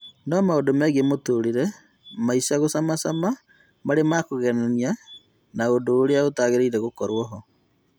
No maũndũ megie mũtũrĩre maisha magũcamacama marĩ makũgegania na ũndũ ũrĩa ũtaragĩrĩire gũkorwo ho